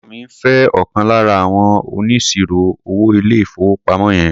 Ẹ̀gbọ́ mi ń fé ọ̀kan lára àwọn oníṣirò-owó ilé-ìfowópamọ́ yẹn.